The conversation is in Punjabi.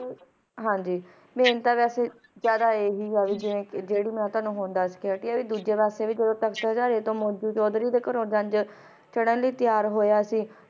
ਹਨ ਜੀ but ਤੇ ਜ਼ਿਆਦਾ ਆਏ ਹੈ ਹੈ ਜੈਰੀ ਮੇਂ ਤੁਵਾਂਨੂੰ ਹੁਣ ਦੱਸ ਦੀ ਹੈ ਕ ਚੌਧਰੀ ਦੇ ਘਰੋਂ ਜੰਜ ਲਾਯੰ ਲਈ ਤਿਆਰ ਹੋਇਆ ਸੀ